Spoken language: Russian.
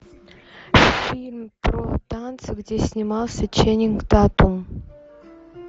фильм про танцы где снимался ченнинг татум